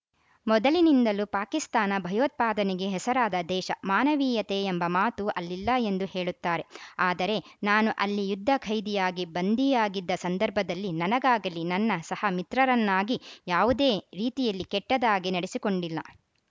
ಮೊದಲಿನಿಂದಲೂ ಪಾಕಿಸ್ತಾನ ಭಯೋತ್ಪಾದನೆಗೆ ಹೆಸರಾದ ದೇಶ ಮಾನವೀಯತೆ ಎಂಬ ಮಾತು ಅಲ್ಲಿಲ್ಲ ಎಂದು ಹೇಳುತ್ತಾರೆ ಆದರೆ ನಾನು ಅಲ್ಲಿ ಯುದ್ಧ ಖೈದಿಯಾಗಿ ಬಂಧಿಯಾಗಿದ್ದ ಸಂದರ್ಭದಲ್ಲಿ ನನಗಾಗಲೀ ನನ್ನ ಸಹ ಮಿತ್ರರನ್ನಾಗೀ ಯಾವುದೇ ರೀತಿಯಲ್ಲಿ ಕೆಟ್ಟದಾಗಿ ನಡೆಸಿಕೊಂಡಿಲ್ಲ